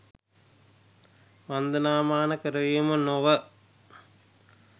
වන්දනාමාන කරවීම නො ව